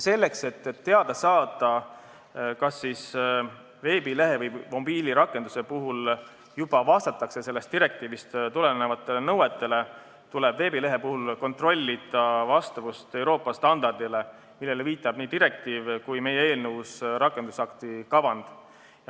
Selleks, et teada saada, kas veebileht või mobiilirakendus juba vastab sellest direktiivist tulenevatele nõuetele, tuleb kontrollida veebilehe vastavust Euroopa standardile, millele viitab nii direktiiv kui ka meie eelnõus olev rakendusakti kavand.